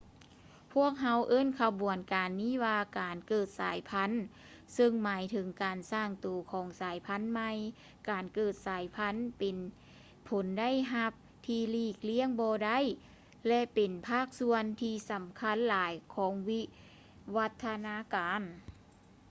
ພວກເຮົາເອີ້ນຂະບວນການນີ້ວ່າ ການເກີດສາຍພັນ ຊຶ່ງໝາຍເຖິງການສ້າງໂຕຂອງສາຍພັນໃໝ່ ການເກີດສາຍພັນ ເປັນຜົນໄດ້ຮັບທີ່ຫຼີກລ້ຽງບໍ່ໄດ້ ແລະ ເປັນພາກສ່ວນທີ່ສຳຄັນຫຼາຍຂອງວິວັດທະນາການ